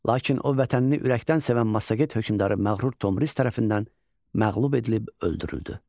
Lakin o, vətənini ürəkdən sevən massaget hökmdarı məğrur Tomris tərəfindən məğlub edilib öldürüldü.